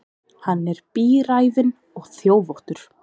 Hann er bíræfinn og þjófóttur.